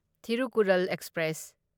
Thirukkural express